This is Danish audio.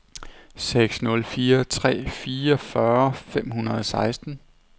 seks nul fire tre fireogfyrre fem hundrede og seksten